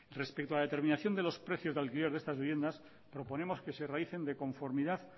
respecto a la determinación de los precios de alquiler de estas viviendas proponemos que se realicen de conformidad